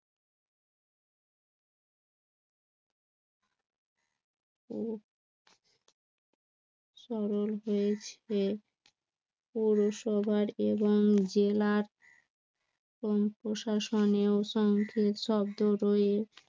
পৌরসভার এবং জেলার প্রশাসনেও সংক্ষিপ্ত শব্দ রইছে